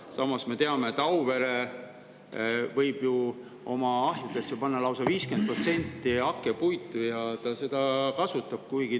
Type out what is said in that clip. Samas me teame, et Auvere võib ju oma ahjudesse panna lausa 50% hakkepuitu ja ta seda kasutab.